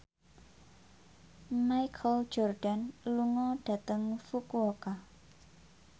Michael Jordan lunga dhateng Fukuoka